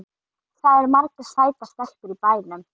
Það eru margar sætar stelpur í bænum.